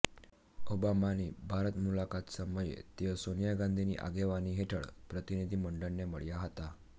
ઓબામાની ભારત મુલાકાત સમયે તેઓ સોનિયા ગાંધીની આગેવાની હેઠળ પ્રતિનિધિ મંડળને મળ્યા હતા